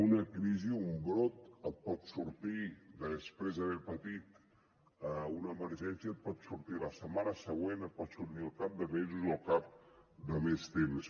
una crisi o un brot et pot sortir després d’haver patit una emergència et pot sortir la setmana següent et pot sortir al cap de mesos o al cap de més temps